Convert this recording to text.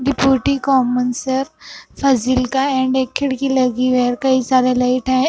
Deputy common shelf Fazilka and एक खिड़की लगी वेयर कई सारे लाइट है।